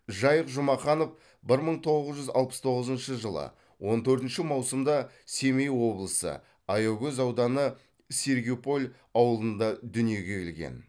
жайық жұмаханов бір мың тоғыз жүз алпыс тоғызыншы жылы он төртінші маусымда семей облысы аягөз ауданы сергиполь ауылында дүниеге келген